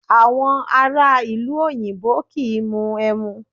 Awọn ara ilu oyinbo kii mu emu